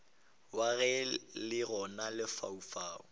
wa ge le gona lefaufau